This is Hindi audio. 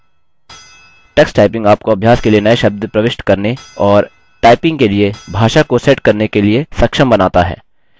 tuxtyping आपको अभ्यास के लिए नये शब्द प्रविष्ट करने और टाइपिंग के लिए भाषा को सेट करने के लिए सक्षम बनाता है